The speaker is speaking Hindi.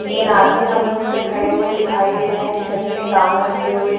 तीन आदमी हमें उस पे खड़े हुए दिखाई दे रहे हैं छत पे काम करते हुए।